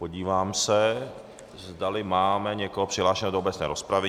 Podívám se, zdali máme někoho přihlášeného do obecné rozpravy.